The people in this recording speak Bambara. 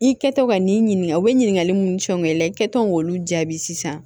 I kɛtɔ ka n'i ɲininka o be ɲininkali mun ni fɛnw kɛ i la i kɛtɔ k'olu jaabi sisan